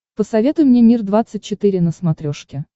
посоветуй мне мир двадцать четыре на смотрешке